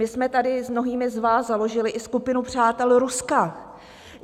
My jsme tady s mnohými z vás založili i Skupinu přátel Ruska.